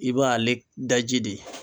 I b'ale daji de